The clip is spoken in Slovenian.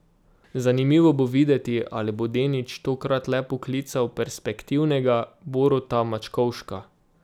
Zanimivo bo videti, ali bo Denič tokrat le poklical perspektivnega Boruta Mačkovška.